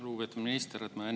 Lugupeetud minister!